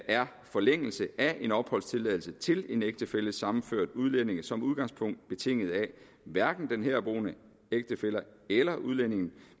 er forlængelse af en opholdstilladelse til en ægtefællesammenført udlænding som udgangspunkt betinget af at hverken den herboende ægtefælle eller udlændingen